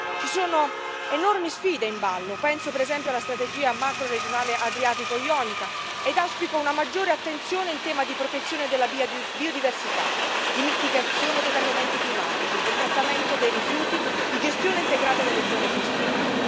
Ci sono enormi sfide in ballo, penso per esempio alla strategia macroregionale adriatico ionica, e auspico una maggiore attenzione in tema di protezione della biodiversità, di mitigazione dei cambiamenti climatici, del trattamento dei rifiuti e di gestione integrata delle zone costiere.